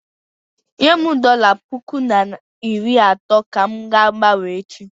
Nyem dọla puku na iri atọ ka m ga-gbanwee echi.